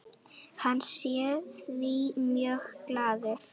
Hann sé því mjög glaður.